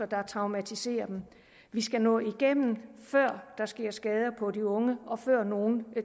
der traumatiserer dem vi skal nå igennem før der sker skader på de unge og før nogen